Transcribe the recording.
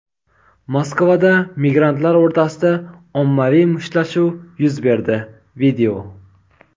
Moskvada migrantlar o‘rtasida ommaviy mushtlashuv yuz berdi.